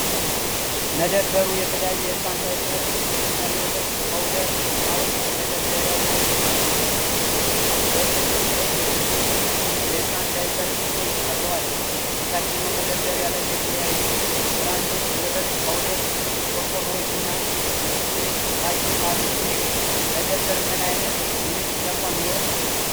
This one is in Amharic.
መደብሩ የተለያዩ የሕፃን ዳይፐር እና የወተት ፓውደር እቃዎች በመደርደሪያዎች ላይ አሉ። "ኤ.ቢ.ሲ." የተሰኙ የሕፃን ዳይፐር እሽጎች ቀርበዋል። በታችኛው መደርደሪያ ላይ የተለያዩ ብራንዶች የወተት ፓውደር ቆርቆሮዎች እና የብስኩት ፓኬት አሉ። ይህ መደብር ምን ዓይነት የንግድ ተቋም ሊሆን ይችላል?